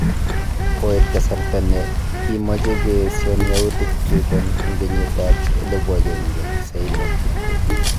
kikoit kasarta ne ki moche koesion yautik chuton en kenyit ab 1920